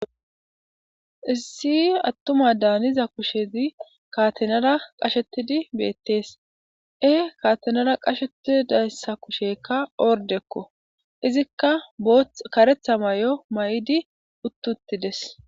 Issi attuma daaniza kushezi kaatenara qashetidi beettees e kaatenara qashetidayssa kushekka ordekko izikka both karetha may7o may7idi uttuttides.